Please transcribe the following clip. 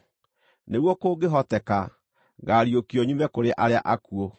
nĩguo kũngĩhoteka, ngaariũkio nyume kũrĩ arĩa akuũ.